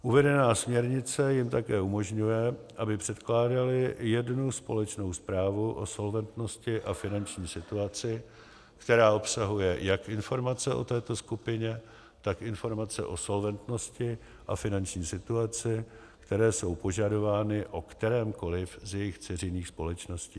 Uvedená směrnice jim také umožňuje, aby předkládaly jednu společnou zprávu o solventnosti a finanční situaci, která obsahuje jak informace o této skupině, tak informace o solventnosti a finanční situaci, které jsou požadovány o kterémkoli z jejích dceřiných společností.